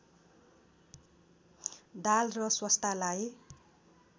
दाल र सोस्टालाई